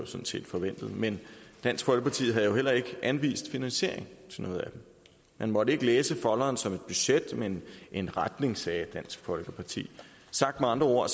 sådan set forventet men dansk folkeparti havde jo heller ikke anvist finansiering til noget af det man måtte ikke læse folderen som et budget men en retning sagde dansk folkeparti sagt med andre ord